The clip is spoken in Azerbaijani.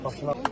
Başınıza.